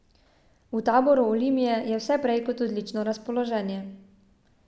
V taboru Olimpije je vse prej kot odlično razpoloženje.